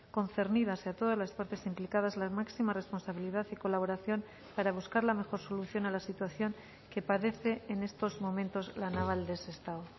concernidas y a todas las partes implicadas la máxima responsabilidad y colaboración para buscar la mejor solución a la situación que padece en estos momentos la naval de sestao